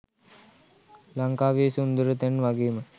ලංකාවේ සුන්දර තැන් වගේම